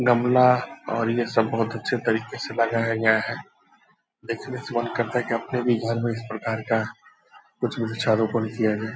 गमला और ये सब बहुत अच्छे तरीके से लगाया गया है। देखने से मन करता है की अपने भी घर में इस प्रकार का कुछ वृक्षारोपण किया जाए।